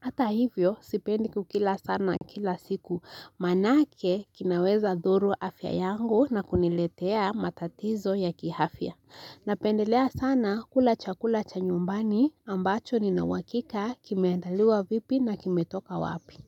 Hata hivyo sipendi kukila sana kila siku manake kinaweza dhuru afya yangu na kuniletea matatizo ya kiafya Napendelea sana kula chakula cha nyumbani ambacho nina uhakika kimeandaliwa vipi na kimetoka wapi.